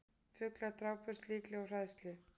Fuglar drápust líklega úr hræðslu